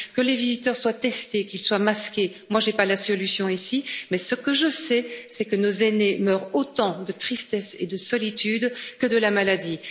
bon message. Que les visiteurs soient testés, qu'ils soient masqués, moi je n'ai pas la solution ici, mais ce que je sais, c'est que nos aînés meurent autant de tristesse et de solitude que